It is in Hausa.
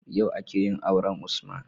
Yau akeyin auren usman